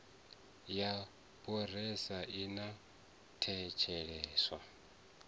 ya parole i a thetsheleswa